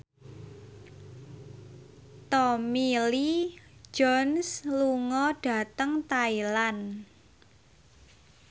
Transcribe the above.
Tommy Lee Jones lunga dhateng Thailand